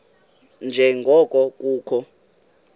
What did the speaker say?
nje ngoko kukho